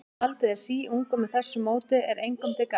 En bíll, sem haldið er síungum með þessu móti, er engum til gagns.